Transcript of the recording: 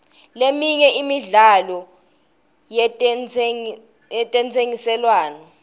leminye imidlalo yetentsengiselwano